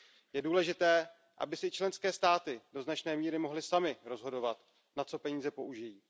Je důležité, aby si členské státy do značné míry mohly samy rozhodovat, na co peníze použijí.